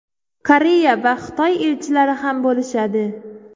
Koreya va Xitoy elchilari ham bo‘lishadi.